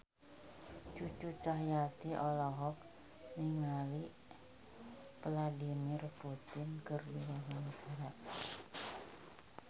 Cucu Cahyati olohok ningali Vladimir Putin keur diwawancara